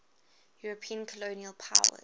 european colonial powers